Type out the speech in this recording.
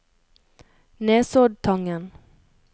Nesoddtangen